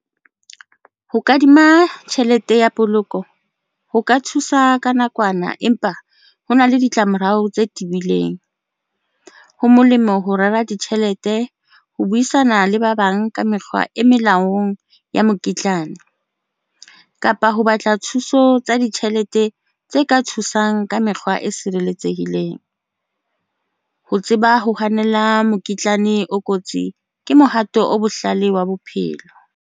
Ho kadima tjhelete ya poloko ho ka thusa ka nakwana, empa ho na le ditlamorao tse tibileng, ho molemo ho rera ditjhelete ho buisana le ba bang ka mekgwa e melaong ya mokitlane kapa ho batla thuso tsa ditjhelete tse ka thusang ka mekgwa e sireletsehileng ho tseba ho hanela mokitlane. O kotsi ke mohato o bohlale wa bophelo.